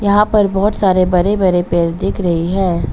यहां पर बहौत सारे बड़े बड़े पेड़ दिख रही है।